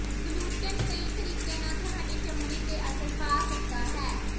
gluten ਕਈ ਤਰੀਕਿਆਂ ਨਾਲ ਤੁਹਾਡੀ ਚਮੜੀ ਤੇ ਅਸਰ ਪਾ ਸਕਦਾ ਹੈ